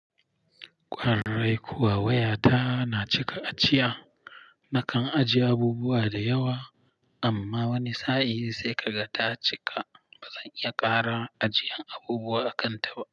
Ƙwarai kuwa waya ta na cika ajiya. Nakan ajiye abubuwa da yawa amma wani sa'in sai kaga ta cika. Ba zan iya ƙara ajiyan abubuwa a kan ta ba.